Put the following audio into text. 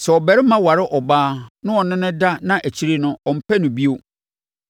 Sɛ ɔbarima ware ɔbaa na ɔne no da na akyire no, ɔmpɛ no bio,